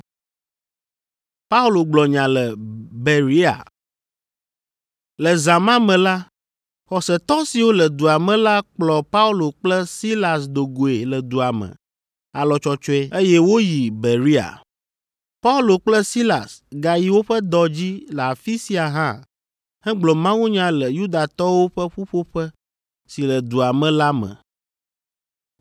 Le zã ma me la, xɔsetɔ siwo le dua me la kplɔ Paulo kple Silas do goe le dua me alɔtsɔtsɔe, eye woyi Berea. Paulo kple Silas gayi woƒe dɔ dzi le afi sia hã hegblɔ mawunya le Yudatɔwo ƒe ƒuƒoƒe si le dua me la me.